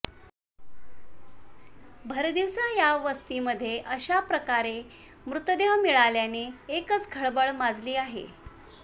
भरदिवसा या वस्तीमध्ये अशा प्रकारे मृतदेह मिळाल्याने एकच खळबळ माजली आहे